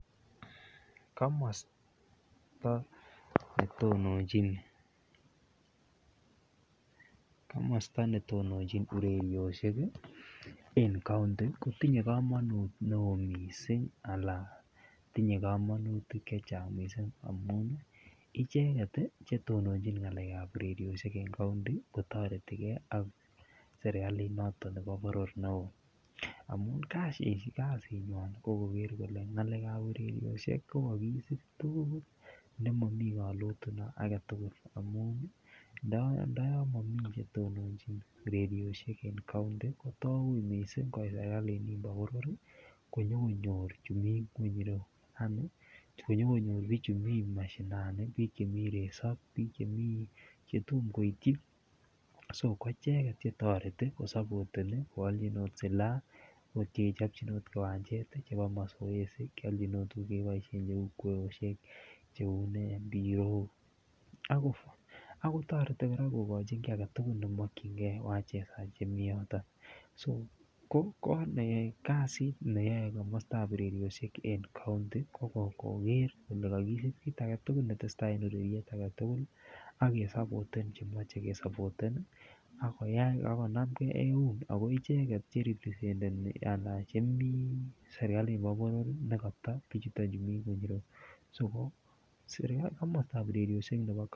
Komosto netononjin urerioshek en county kotinye komonut neo mising alan tinye komonutik chechang amun icheket chetononjin ngalekab urerioshek en county kotortetike ak serikalit noton nebo boror neo amun kasinywany ko koker kolee ngalekab urerioshek ko kokisib tukul nemomi kolotuno amun ndoyon momi netononjin urerioshek en county ko too uuii mising koit serikalit nimbo boror konyokonyor chumii ngweny ireyu, yaani konyokonyor bichu mii mashinani biik chemii resob ak biik chetom koityi soko ko icheket chetoreti ko olchinot silaa kochopchinot kiwanjet chebo masoesi, kiolchin oot tukuk chekiboishen cheuu kweyooyek, chheuu nee mpirok ak kotoreti kora kokochin kii aketukul nemokyinge wachezaji chemii yoton, ko kasit neyoe komostab urerioshek county ko koker kolee kokirib kiit aketukul neteseta en ureriet aketukul ak kesopoten chemoche kesopoten ak konamke ak eun akoo icheket cheripresenteni alaan chemii serikali nibo boror nekoto bichuton chumii nweny ireyu so komostab urerioshek nebo.